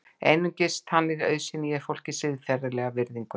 Einungis þannig auðsýni ég fólki siðferðilega virðingu.